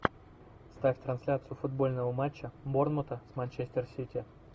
ставь трансляцию футбольного матча борнмута с манчестер сити